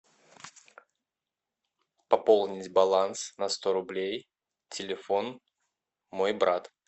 пополнить баланс на сто рублей телефон мой брат